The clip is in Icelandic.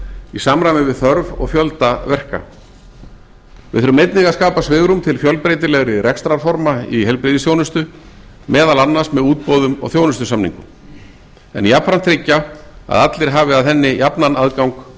í samræmi við þörf og fjölda verka við þurfum einnig að skapa svigrúm til fjölbreytilegri rekstrarforma í heilbrigðisþjónustu meðal annars með útboðum og þjónustusamningum en jafnframt tryggja að allir hafi að henni jafnan aðgang